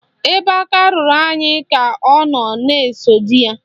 Ebe aka ruru nwaanyị ka ọ na-ekosa di ya.